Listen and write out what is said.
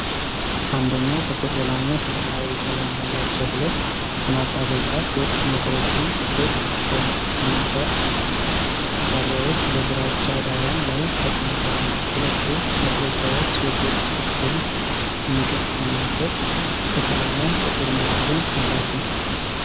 አንደኛው ጥቁር ሌላኛው ሰማያዊ ቀለም ያላቸው ሁለት የማጣበቂያ ቴፕ መቁረጫ (ቴፕ ዲሰፐንሰር) መሣሪያዎች በግራጫ ዳራ ላይ ተቀምጠዋል። ሁለቱም መቁረጫዎች የቴፕ ጥቅልል የሚገጠምበት ክፍልና ጥቁር መያዣ አላቸው።